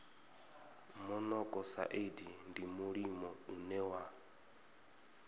monokosaidi ndi mulimo une wa